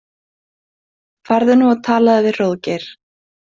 Farðu nú og talaðu við Hróðgeir.